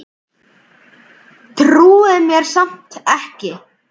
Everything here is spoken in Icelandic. Trúir mér samt ekki.